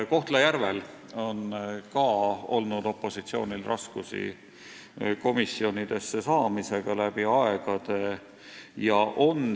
Kohtla-Järvel on ka olnud opositsioonil läbi aegade raskusi komisjonidesse saamisel.